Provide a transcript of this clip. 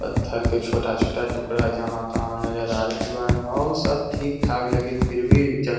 पत्थर के छोटा-छोटा टुकड़ा जहाँ-तहाँ नज़र आ रहल है हो सब ठीक-ठाक फिर भी --